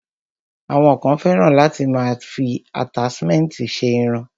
Àwọn kan fẹ́ràn láti máa fi àtáṣmẹ̀ntì ṣe irun.